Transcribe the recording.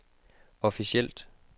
officielt